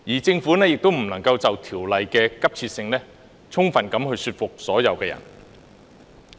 政府亦未能就修例的急切性充分說服所有人。